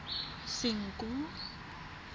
senqu